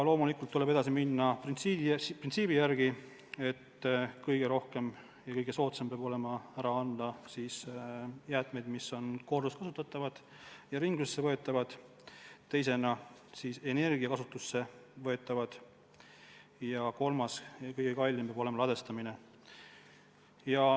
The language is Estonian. Loomulikult tuleb edasi minna printsiibi järgi, et kõige soodsam peab olema ära anda jäätmeid, mis on korduvkasutatavad ja ringlusse võetavad, teiseks need, mis on energiakasutusse võetavad, ja kolmas, kõige kallim, peab olema ladestamine.